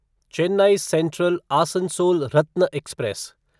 Chennai central Asansol Ratna express